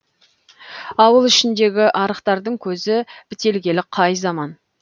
ауыл ішіндегі арықтардың көзі бітелгелі қай заман